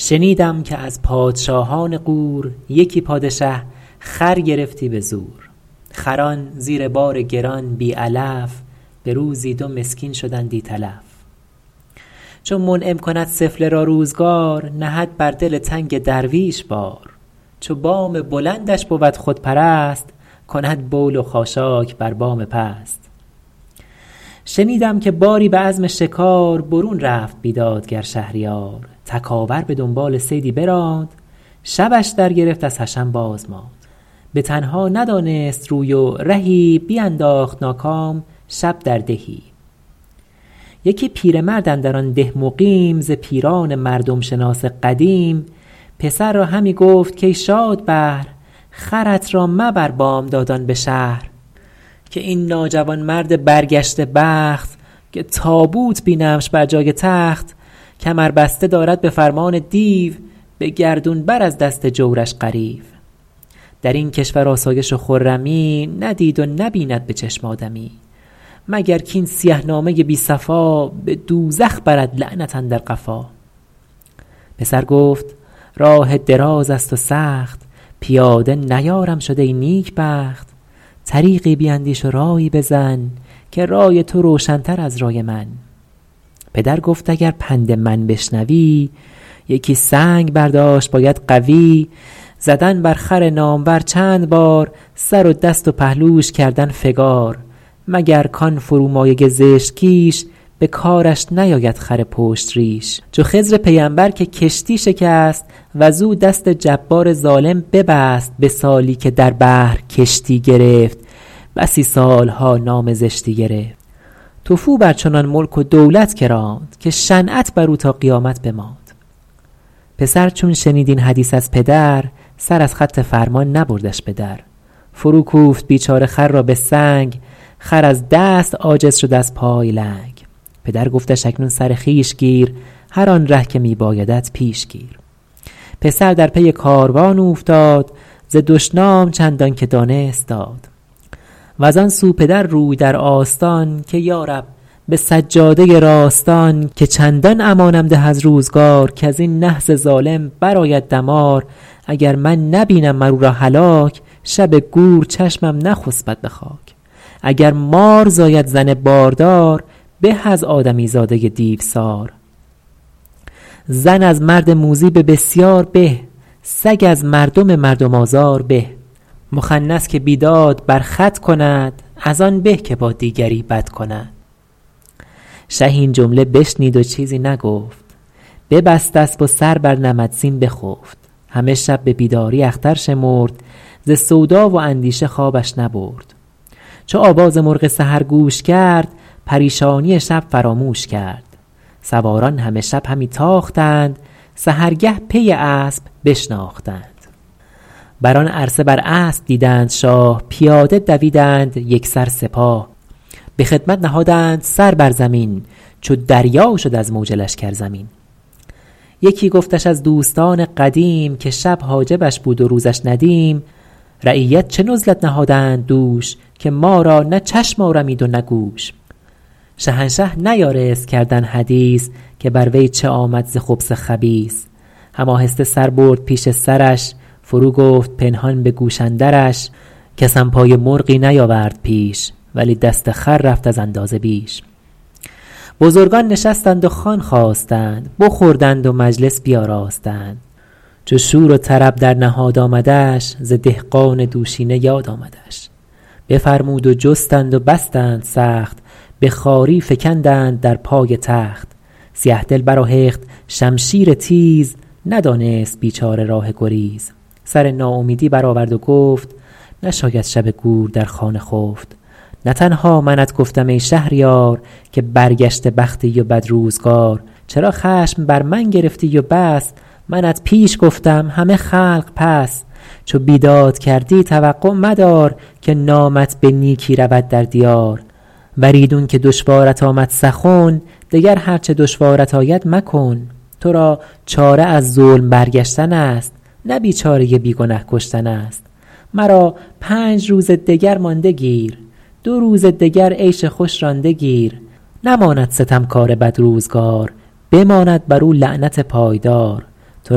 شنیدم که از پادشاهان غور یکی پادشه خر گرفتی به زور خران زیر بار گران بی علف به روزی دو مسکین شدندی تلف چو منعم کند سفله را روزگار نهد بر دل تنگ درویش بار چو بام بلندش بود خودپرست کند بول و خاشاک بر بام پست شنیدم که باری به عزم شکار برون رفت بیدادگر شهریار تکاور به دنبال صیدی براند شبش در گرفت از حشم باز ماند به تنها ندانست روی و رهی بینداخت ناکام شب در دهی یکی پیرمرد اندر آن ده مقیم ز پیران مردم شناس قدیم پسر را همی گفت کای شادبهر خرت را مبر بامدادان به شهر که این ناجوانمرد برگشته بخت که تابوت بینمش بر جای تخت کمر بسته دارد به فرمان دیو به گردون بر از دست جورش غریو در این کشور آسایش و خرمی ندید و نبیند به چشم آدمی مگر کاین سیه نامه بی صفا به دوزخ برد لعنت اندر قفا پسر گفت راه دراز است و سخت پیاده نیارم شد ای نیکبخت طریقی بیندیش و رایی بزن که رای تو روشن تر از رای من پدر گفت اگر پند من بشنوی یکی سنگ برداشت باید قوی زدن بر خر نامور چند بار سر و دست و پهلوش کردن فگار مگر کان فرومایه زشت کیش به کارش نیاید خر پشت ریش چو خضر پیمبر که کشتی شکست وز او دست جبار ظالم ببست به سالی که در بحر کشتی گرفت بسی سالها نام زشتی گرفت تفو بر چنان ملک و دولت که راند که شنعت بر او تا قیامت بماند پسر چون شنید این حدیث از پدر سر از خط فرمان نبردش به در فرو کوفت بیچاره خر را به سنگ خر از دست عاجز شد از پای لنگ پدر گفتش اکنون سر خویش گیر هر آن ره که می بایدت پیش گیر پسر در پی کاروان اوفتاد ز دشنام چندان که دانست داد وز آن سو پدر روی در آستان که یارب به سجاده راستان که چندان امانم ده از روزگار کز این نحس ظالم بر آید دمار اگر من نبینم مر او را هلاک شب گور چشمم نخسبد به خاک اگر مار زاید زن باردار به از آدمی زاده دیوسار زن از مرد موذی به بسیار به سگ از مردم مردم آزار به مخنث که بیداد بر خود کند از آن به که با دیگری بد کند شه این جمله بشنید و چیزی نگفت ببست اسب و سر بر نمد زین بخفت همه شب به بیداری اختر شمرد ز سودا و اندیشه خوابش نبرد چو آواز مرغ سحر گوش کرد پریشانی شب فراموش کرد سواران همه شب همی تاختند سحرگه پی اسب بشناختند بر آن عرصه بر اسب دیدند شاه پیاده دویدند یکسر سپاه به خدمت نهادند سر بر زمین چو دریا شد از موج لشکر زمین یکی گفتش از دوستان قدیم که شب حاجبش بود و روزش ندیم رعیت چه نزلت نهادند دوش که ما را نه چشم آرمید و نه گوش شهنشه نیارست کردن حدیث که بر وی چه آمد ز خبث خبیث هم آهسته سر برد پیش سرش فرو گفت پنهان به گوش اندرش کسم پای مرغی نیاورد پیش ولی دست خر رفت از اندازه بیش بزرگان نشستند و خوان خواستند بخوردند و مجلس بیاراستند چو شور و طرب در نهاد آمدش ز دهقان دوشینه یاد آمدش بفرمود و جستند و بستند سخت به خواری فکندند در پای تخت سیه دل برآهخت شمشیر تیز ندانست بیچاره راه گریز سر ناامیدی برآورد و گفت نشاید شب گور در خانه خفت نه تنها منت گفتم ای شهریار که برگشته بختی و بد روزگار چرا خشم بر من گرفتی و بس منت پیش گفتم همه خلق پس چو بیداد کردی توقع مدار که نامت به نیکی رود در دیار ور ایدون که دشوارت آمد سخن دگر هر چه دشوارت آید مکن تو را چاره از ظلم برگشتن است نه بیچاره بی گنه کشتن است مرا پنج روز دگر مانده گیر دو روز دگر عیش خوش رانده گیر نماند ستمکار بد روزگار بماند بر او لعنت پایدار تو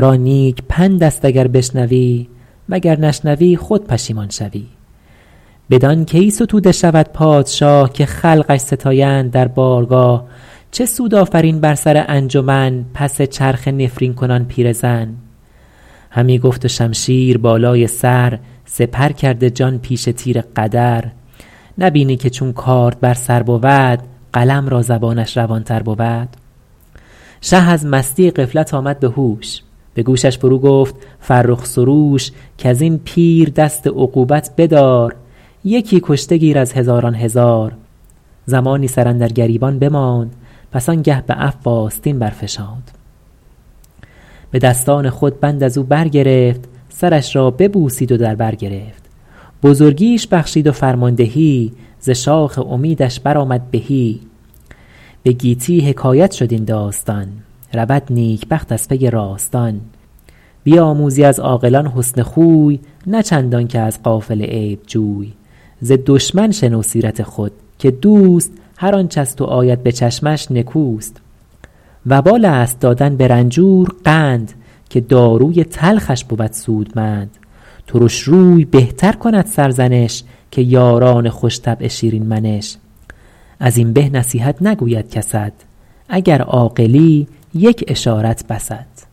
را نیک پند است اگر بشنوی وگر نشنوی خود پشیمان شوی بدان کی ستوده شود پادشاه که خلقش ستایند در بارگاه چه سود آفرین بر سر انجمن پس چرخه نفرین کنان پیرزن همی گفت و شمشیر بالای سر سپر کرده جان پیش تیر قدر نبینی که چون کارد بر سر بود قلم را زبانش روان تر بود شه از مستی غفلت آمد به هوش به گوشش فرو گفت فرخ سروش کز این پیر دست عقوبت بدار یکی کشته گیر از هزاران هزار زمانی سر اندر گریبان بماند پس آن گه به عفو آستین برفشاند به دستان خود بند از او برگرفت سرش را ببوسید و در بر گرفت بزرگیش بخشید و فرماندهی ز شاخ امیدش برآمد بهی به گیتی حکایت شد این داستان رود نیکبخت از پی راستان بیاموزی از عاقلان حسن خوی نه چندان که از غافل عیب جوی ز دشمن شنو سیرت خود که دوست هرآنچ از تو آید به چشمش نکوست وبال است دادن به رنجور قند که داروی تلخش بود سودمند ترش روی بهتر کند سرزنش که یاران خوش طبع شیرین منش از این به نصیحت نگوید کست اگر عاقلی یک اشارت بست